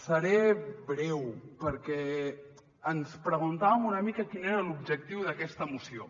seré breu perquè ens preguntàvem una mica quin era l’objectiu d’aquesta moció